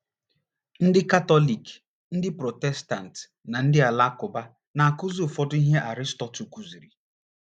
Ndị Katọlik, ndị Protestant na ndị Alakụba na - akụzidị ụfọdụ ihe Aristotle kụziri.